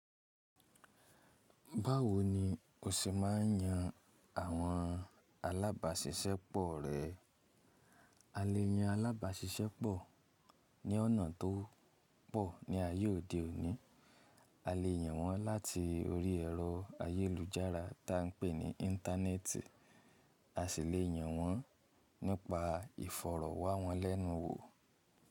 Báwo ni o ṣe máa ń yan àwọn alábàáṣiṣẹ́ pọ̀ rẹ? A lè yan alábàáṣiṣẹ́ pọ̀ ní ọ̀nà tó pọ̀ ní ayé òde òní, a lè yan wọ́n láti orí ẹ̀rọ ayélujára tá ń pè ní Íńtánẹ́ẹ̀tì, a sì le yan wọ́n nípa ìfọ̀rọ̀wánwọ́ lẹ́nu wò.